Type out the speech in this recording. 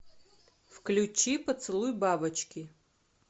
включи поцелуй бабочки